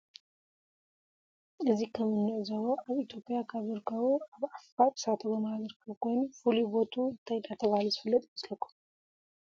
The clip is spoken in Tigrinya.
እዚ ከም እንዕዞቦ አብ ኢትዮጲያ ካብ ዝርከብ አብ ዓፋር እሳተ ጎሞራ ዝርከብ ኮይኑ ፉሉይ ቦቱኡ እንታይ እናተባህለ ዝፍለጥ ይመስለኩም ?